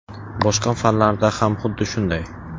Boshqa fanlarda ham xuddi shunday.